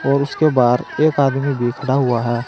और उसके बाहर एक आदमी भी खड़ा हुआ है।